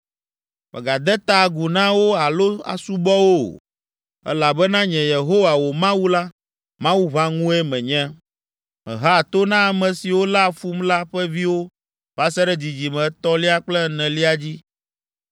Mègade ta agu na wo alo asubɔ wo o, elabena nye Yehowa, wò Mawu la, Mawu ʋãŋue menye. Mehea to na ame siwo léa fum la ƒe viwo va se ɖe dzidzime etɔ̃lia kple enelia dzi,